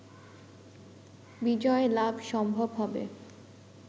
বিজয় লাভ সম্ভব হবে